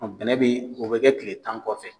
bɛnɛ bɛ o bɛ kɛ tile tan kɔfɛ.